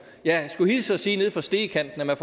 jeg skulle hilse at sige nede fra stegekanten at man